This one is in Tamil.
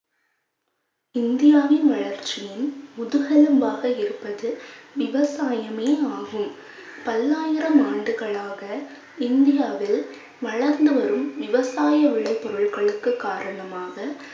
இந்தியாவின் வளர்ச்சியின் முதுகெலும்பாக இருப்பது விவசாயமே ஆகும். பல்லாயிரம் ஆண்டுகளாக இந்தியாவில் வளர்ந்து வரும் விவசாய விளைபொருள்களுக்கு காரணமாக